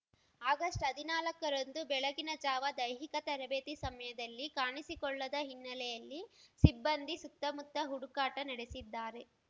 ಆಗಸ್ಟ್ಹದಿನಾಲಕ್ಕರಂದು ಬೆಳಗಿನ ಜಾವ ದೈಹಿಕ ತರಬೇತಿ ಸಮಯದಲ್ಲಿ ಕಾಣಿಸಿಕೊಳ್ಳದ ಹಿನ್ನೆಲೆಯಲ್ಲಿ ಸಿಬ್ಬಂದಿ ಸುತ್ತಮುತ್ತ ಹುಡುಕಾಟ ನಡೆಸಿದ್ದಾರೆ